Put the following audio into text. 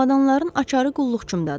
Çamadanların açarı qulluqçumdadır.